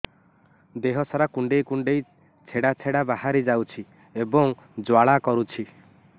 ଦେହ ସାରା କୁଣ୍ଡେଇ କୁଣ୍ଡେଇ ଛେଡ଼ା ଛେଡ଼ା ବାହାରି ଯାଉଛି ଏବଂ ଜ୍ୱାଳା କରୁଛି